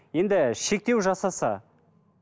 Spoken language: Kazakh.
енді шектеу жасаса